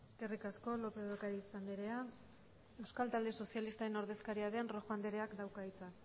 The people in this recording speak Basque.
eskerrik asko lópez de ocariz anderea euskal talde sozialista taldearen ordezkaria den rojo andereak dauka hitza